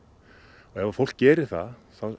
og ef fólk gerir það þá